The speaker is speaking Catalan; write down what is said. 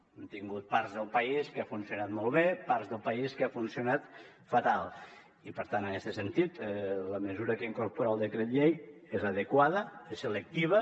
hem tingut parts del país que ha funcionat molt bé parts del país que ha funcionat fatal i per tant en este sentit la mesura que incorpora el decret llei és l’adequada és selectiva